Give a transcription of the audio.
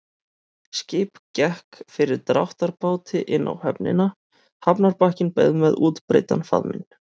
Skip gekk fyrir dráttarbáti inn á höfnina, hafnarbakkinn beið með útbreiddan faðminn.